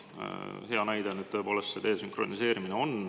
Näide heast oli nüüd see desünkroniseerimine.